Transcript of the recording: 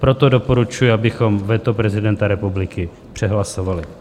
Proto doporučuji, abychom veto prezidenta republiky přehlasovali.